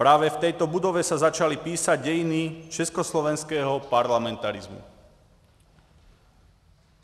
Právě v této budově se začaly psát dějiny československého parlamentarismu.